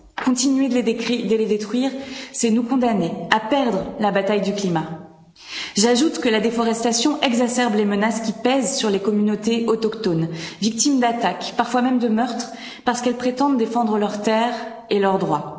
Continuer de les détruire, c'est nous condamner à perdre la bataille du climat. J'ajoute que la déforestation exacerbe les menaces qui pèsent sur les communautés autochtones, victimes d'attaques, parfois même de meurtres, parce qu'elles prétendent défendre leurs terres et leurs droits.